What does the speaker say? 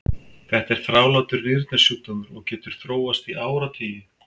Þetta er þrálátur nýrnasjúkdómur og getur þróast í áratugi.